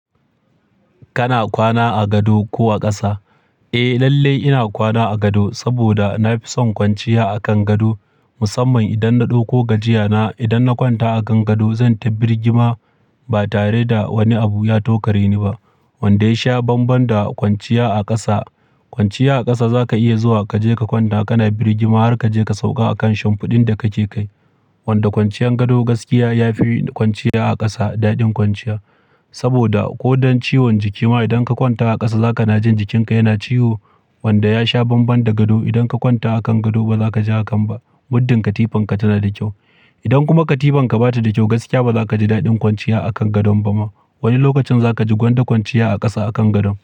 Kana kwana a gado ko a ƙasa? Eh lalle ina kwana a gado, saboda na fi son kwanciya a kan gado. Musamman idan na ɗauko gajiya na, idan na kwanta a kan gado zan taɓigima ba tare da wani abu ya tokare ni ba. Wanda ya sha bambam da kwanciya a ƙasa. Kwanciya a ƙasa za ka iya zuwa kaje ka kwanta kana birgima har kaje ka sauka a kan shinfiɗin da kake kai. Wanda kwanciyan gado gaskiya ya fi kwanciya a ƙasa daɗin kwanciya. Saboda ko don ciwon jiki ma idan ka kwanta a ƙasa za ka na jin jikinka yana ciwo. Wanda ya sha bambam da gado, idan ka kwanta a kan gado ba za ka ji hakan ba. Muddin katifanka tana da kyau. Idan kuma katifanka ba ta da kyau gaskiya ba za ka ji daɗin kwanciya a kan gadon ba ma. Wani lokacin za ka ji gwanda kwanciya a ƙasa akan gado.